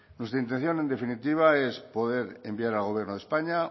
nuestra intención en definitiva es poder enviar al gobierno españa